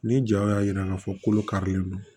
Ni jaw y'a jira k'a fɔ kolo karilen don